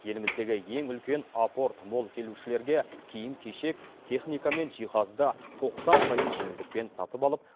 еліміздегі ең үлкен апорт молл келушілерге киім кешек техника мен жиһазды тоқсан пайыз жеңілдікпен сатып алып